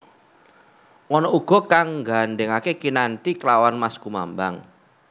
Ana uga kang nggandhèngaké kinanthi klawan Maskumambang